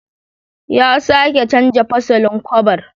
Ya sake canza fasalin kwabar.